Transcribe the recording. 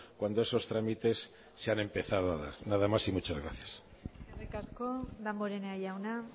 cuando esos trámites se han empezado a dar nada más y muchas gracias eskerrik asko damborenea jauna